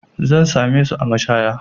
Zan same su a mashaya.